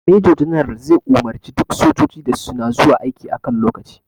Major general zai umarce duka sojoji da suna zuwa aiki a kan lokaci